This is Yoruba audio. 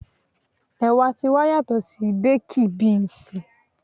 Ẹ̀wà ti wa yàtò sí bákí bínsìì.